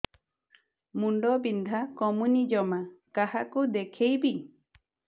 ମୁଣ୍ଡ ବିନ୍ଧା କମୁନି ଜମା କାହାକୁ ଦେଖେଇବି